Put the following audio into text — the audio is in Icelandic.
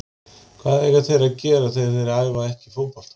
Hvað eiga þeir að gera þegar þeir æfa ekki fótbolta?